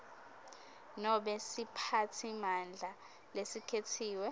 nobe siphatsimandla lesikhetsiwe